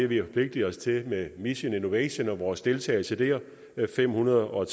vi har forpligtet os til med mission innovation og vores deltagelse der fem hundrede og